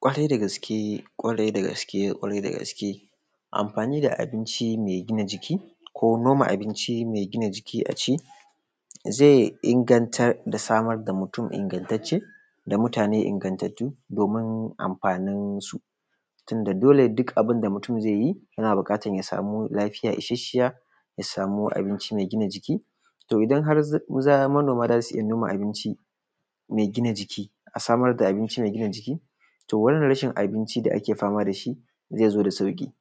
kwarai da gaske kwarai da gaske kwarai da gaske amfani da abinci mai gina jiki ko noma abinci mai gina jiki zai inganta da samar da mutum ingattacce da mutane ingattattu domin amfanin su tunda dole duk abun da mutum zaiyi yana bukatan yasa lafiya ishashshiya ya samu abinci mai gina jiki to idan har manoma zasu iyya noma abinci mai gina jiki a samar da abinci mai gina jiki to wannan rashin abinci da ake fama dashi zaizo da sauki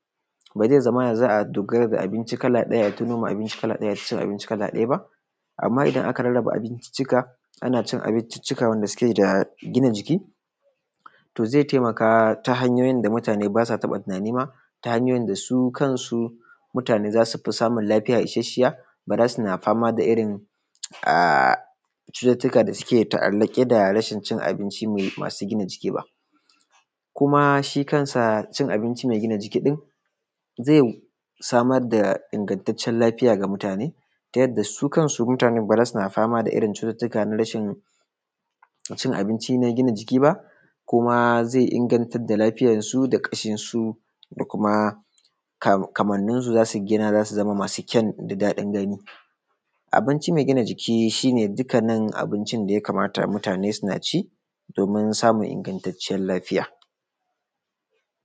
ba zai zamana za’a dogara da abinci kala daya aita noma abinci kala daya aita cin abinci kala daya ba amma idan aka raba abinciccika wanda suke da gina jiki to zai taimaka ta hanyoyin da mutane basa taba tunani ma hanyoyin da su kansu mutane zasufil samun lafiya isasshiya bazasu na fama da irrin cutttuka da suke ta’allake dacin abinci mare gina jiki ba kuma kansa cin abinci mai gina jiki din zai samar da ingantaccen lafiya ga mutane ta yadda su kanu mutane ba zasu na fama da irrin cututtuka na rashin abinci mai gina jiki ba kuma zai inganta da lafiyan su da kashinsu da kuma kamannin su zasu zama masu kyan da dadin gani abinci mai gina jiki shine dukkanin abincin da yaka mata mutane suna ci domin samun ingattacciyan lafiya